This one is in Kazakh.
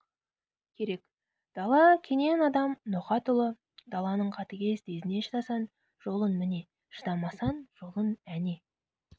керек дала кенен адам ноқат ұлы даланың қатыгез тезіне шыдасаң жолың міне шыдамасаң жолың әне